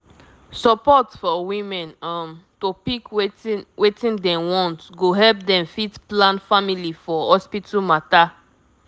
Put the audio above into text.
support for women um to pick wetin wetin dem want go help dem fit plan family for hospital matter